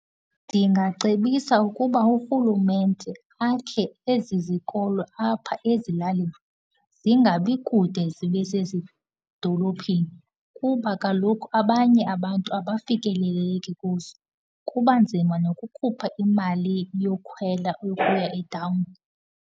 Ndingacebisa ukuba urhulumente akhe ezi zikolo apha ezilalini, zingabi kude zibe sezidolophini kuba kaloku abanye abantu abafikeleleki kuzo. Kuba nzima nokukhupha imali yokukhwela ukuya etawuni.